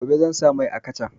Gobe zan sa mai a kacan